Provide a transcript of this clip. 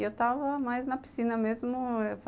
E eu estava mais na piscina mesmo.